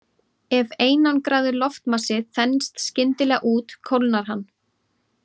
Ef einangraður loftmassi þenst skyndilega út kólnar hann.